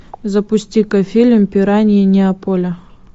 запусти ка фильм пираньи неаполя